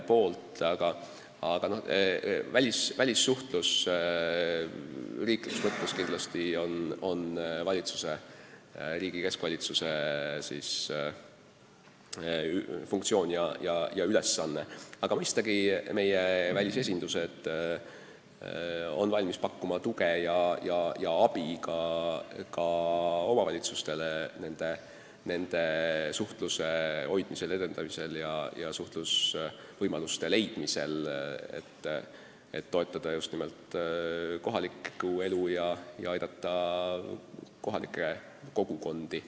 Riigi kui terviku välissuhtlus on muidugi riigi keskvalitsuse funktsioon, aga mõistagi on meie välisesindused valmis pakkuma tuge ja abi ka omavalitsustele nende sidemete hoidmisel, edendamisel ja suhtlusvõimaluste leidmisel, et toetada just nimelt kohalikku elu ja aidata kogukondi.